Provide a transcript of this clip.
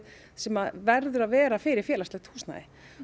sem verður að vera fyrir félagslegt húsnæði